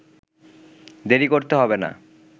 দেরি করতে হবে না।